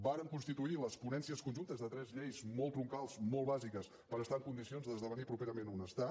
vàrem constituir les ponències conjuntes de tres lleis molt troncals molt bàsiques per estar en condicions d’esdevenir properament un estat